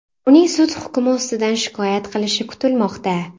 Uning sud hukmi ustidan shikoyat qilishi kutilmoqda.